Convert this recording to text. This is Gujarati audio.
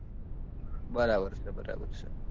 બરાબર છે બરાબર છે